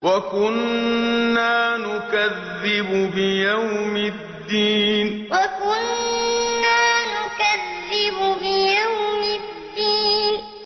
وَكُنَّا نُكَذِّبُ بِيَوْمِ الدِّينِ وَكُنَّا نُكَذِّبُ بِيَوْمِ الدِّينِ